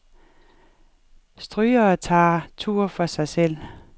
Strygere tager tur for sig selv.